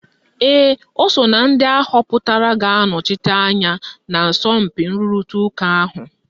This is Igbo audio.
Ee, ọ so na ndị ahọpụtara ga-anọchite anyị na asọmpi nrụrịta ụka ahụ.